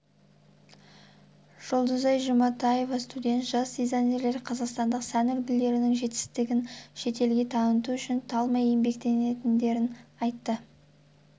жұлдызай жұматаева студент жас дизайнерлер қазақстандық сән үлгілерінің жетістігін шетелге таныту үшін талмай еңбектенетіндерін айтты олардың